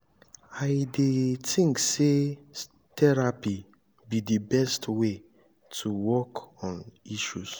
i dey think say therapy be di best way to work on issues.